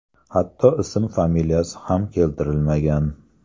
Hatto ism-familiyasi ham keltirilmagan.